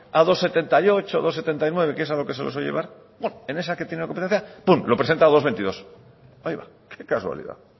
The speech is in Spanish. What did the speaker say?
a dos coma setenta y ocho dos coma setenta y nueve que es a lo que se lo suele llevar en esa que tiene competencia lo presenta a dos coma veintidós qué casualidad